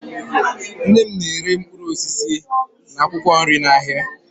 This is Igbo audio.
Nne m na-ere mkpụrụ osisi na akwụkwọ nri n'ahịa